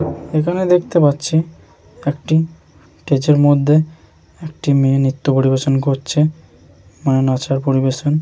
এখানে দেখতে পাচ্ছি একটি টেছের মধ্যে একটি মেয়ে নিত্য পরিবেশন করছে মানে নাচার পরিবেশন।